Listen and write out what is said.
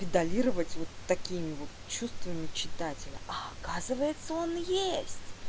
педалировать вот такими вот чувствами читателя оказывается он есть